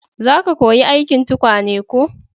za ka koya aikin tukwane ko?